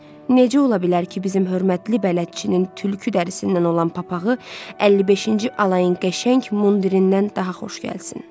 Necə ola bilər ki, bizim hörmətli bələdçinin tülkü dərisindən olan papağı 55-ci alayın qəşəng mundirindən daha xoş gəlsin?